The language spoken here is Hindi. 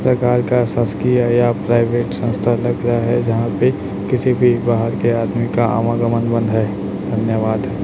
प्रकार का ससकी है या प्राइवेट संस्था लग रहा है जहां पे किसी भी बाहर के आदमी का आवागम बंद है धन्यवाद।